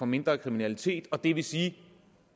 mindre kriminalitet og det vil sige at